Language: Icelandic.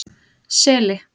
Seli